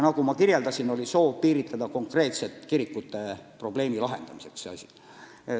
Nagu ma ütlesin, oli soov piiritleda seda regulatsiooni konkreetselt kirikute probleemi lahendamiseks.